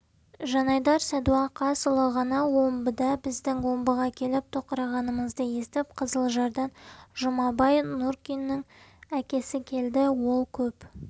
жанайдар садуақасұлы ғана омбыда біздің омбыға келіп тоқырағанымызды естіп қызылжардан жұмабай нұркиннің әкесі келді ол көп